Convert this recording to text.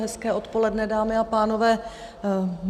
Hezké odpoledne, dámy a pánové.